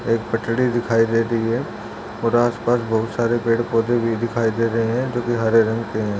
एक पटरी दिखाई दे रही है और आस-पास बहुत सारे पेड़-पोधे भी दिखाई दे रहे है जो के हरे रंग के है।